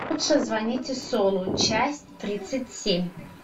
лучше звоните солу часть тридцать семь